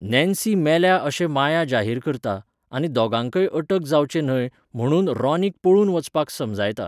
Nancy मेल्या अशें माया जाहीर करता, आनी दोगांकय अटक जावचें न्हय म्हणून रॉनीक पळून वचपाक समजायता.